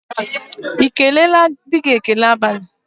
Ị keleela di gị​ ekele abalị?